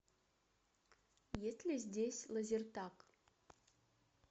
есть ли здесь лазертаг